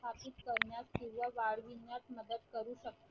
स्थापित करण्यास किंवा वाढविण्यास मदत करू शकते